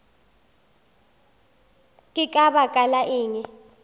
ke ka baka la eng